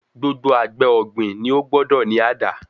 Gbogbo àgbẹ̀ ọ̀gbìn ni ó gbọ́dọ̀ ní àdá.